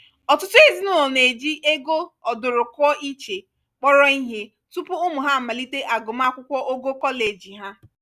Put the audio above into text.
ọtụtụ ezinụlọ na-eji dobe ego ọdụrụkụọ iche kpọrọ ihe tupu ụmụ ha amalite agụmakwụkwọ ogo koleji ha.